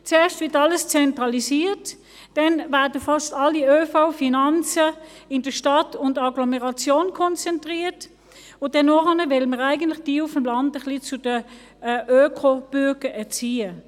Zuerst wird alles zentralisiert, dann werden fast alle ÖVFinanzen in Stadt und Agglomeration konzentriert, und nachher will man eigentlich jene vom Land ein wenig zu Öko-Bürgern erziehen.